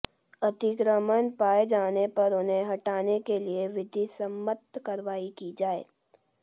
अतिक्रमण पाए जाने पर उन्हें हटाने के लिए विधिसम्मत कार्रवाई की जाए